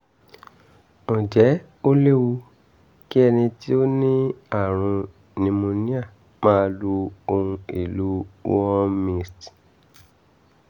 ǹjẹ́ ó léwu kí ẹni tó ní àrùn pneumonia máa lo ohun èlò warm mist